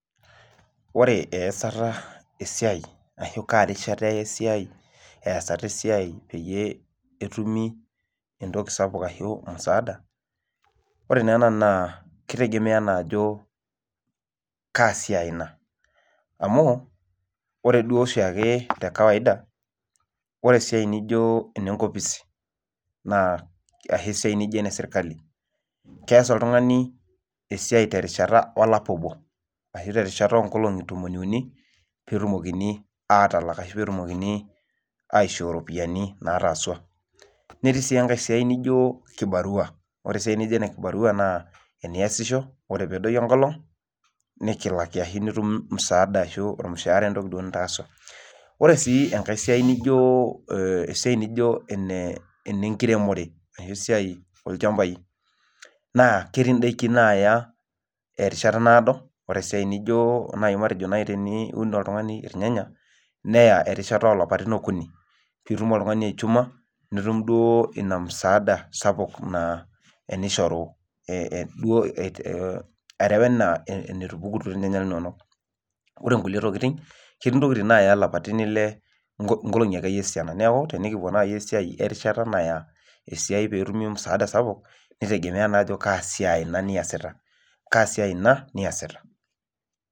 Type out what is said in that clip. Ore easata esiai ashu kaa rishata eya esiai easata esiai peyie etumi entoki sapuk ashu musaada, ore naa ena naa kitegemea enaajo kaa siai ina. Amu ore duo oshiake te kawaida ore esiai nijo ene nkopisi naa ashu esia nijo ene sirkali. Kees oltung'ani esiai terishata olapa obo ashu terishata oo nkolong'i ntomoni uni peetumokini aatalak ashu peetumokini aishoo ropiyiani naataasawa. Netii sii enijo kibarua. Ore esiai nijo ena kibarua naa eniasisho ore peedoyio enkolong' nikilaki ashu nitum msaada ashu ormushaara entoki duo nitaaswa. Ore sii enkae siai nijo, enkae siai nijo enenkiremore naa esiai oolchambai naa ketii indaiki naaya erishata naado. Ore esiai naijo, matejo naai teniun oltung'ani irnyanya, neya erishata oo lapaitin okuni piitum oltung'ani aichuma nitum duo ina msaada sapuk naa, enishoru duo, are enaa enetupukunye ininonok. Ore nkulie tokiting, ketii intokiting naaya ilapaitin ile, nkolong'i akeyie esiana. Neeku tenekipwo naai esiai e rishata naya esiai peetumi msaada sapuk nitegemea naa ajo kaa siai ina niasita. Kaa siai ina niasita